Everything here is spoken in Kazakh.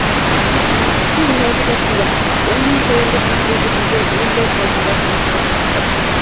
құрманбекке он алты жасымда оң мен солымды танып үлгермеген уыздай қалпымда тұрмысқа шығыппын